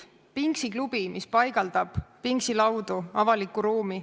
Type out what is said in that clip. Pinksiklubi, mis paigaldab pinksilaudu avalikku ruumi.